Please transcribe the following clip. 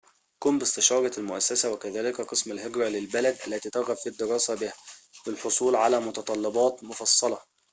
قم باستشارة المؤسسة وكذلك قسم الهجرة للبلد التي ترغب في الدراسة بها للحصول على متطلبات مفصلة